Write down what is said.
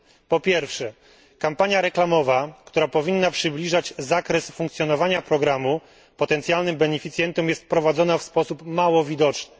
po pierwsze, kampania reklamowa, która powinna przybliżać zakres funkcjonowania programu potencjalnym beneficjentom jest prowadzona w sposób mało widoczny